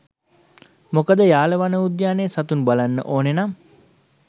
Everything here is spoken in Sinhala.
මොකද යාල වනෝද්‍යානයේ සතුන් බලන්න ඕන නම්